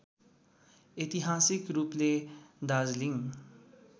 ऐतिहासिक रूपले दार्जीलिङ